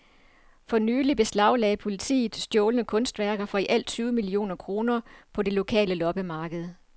For nylig beslaglagde politiet stjålne kunstværker for i alt tyve millioner kroner på det lokale loppemarked.